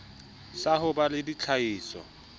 sa ho ba le ditlhahiso